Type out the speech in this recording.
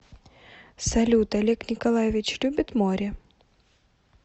салют олег николаевич любит море